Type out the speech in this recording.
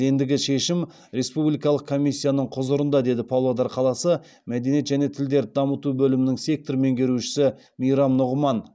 ендігі шешім республикалық комиссияның құзырында деді павлодар қаласы мәдениет және тілдерді дамыту бөлімінің сектор меңгерушісі мейрам нұғыман